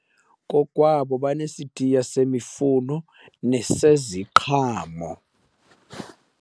Kokwabo basesitiya semifuno neseziqhamo.